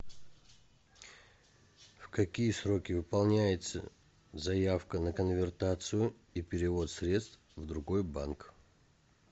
в какие сроки выполняется заявка на конвертацию и перевод средств в другой банк